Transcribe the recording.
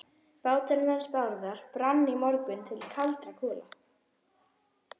Báturinn hans Bárðar brann í morgun til kaldra kola.